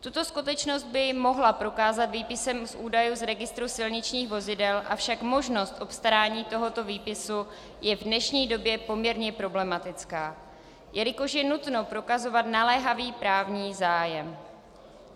Tuto skutečnost by mohla prokázat výpisem z údajů z registru silničních vozidel, avšak možnost obstarání tohoto výpisu je v dnešní době poměrně problematická, jelikož je nutno prokazovat naléhavý právní zájem.